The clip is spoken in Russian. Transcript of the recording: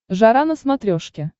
жара на смотрешке